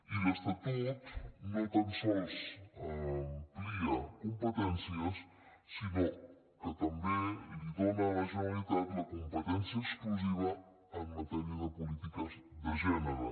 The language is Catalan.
i l’estatut no tan sols amplia compe·tències sinó que també dóna a la generalitat la com·petència exclusiva en matèria de polítiques de gènere